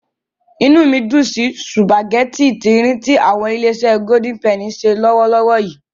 Inú mi dùn sí sùpàgẹ́tì tí-ín-rìn tí àwọn Ilé-iṣé Golden Penny ń ṣe lọ́wọ́lọ́wọ́ yìí.